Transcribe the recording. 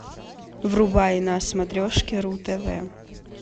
врубай на смотрешке ру тв